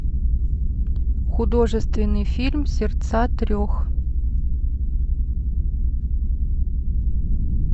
художественный фильм сердца трех